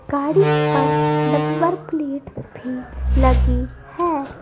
गाड़ी पर number plate भी लगी है।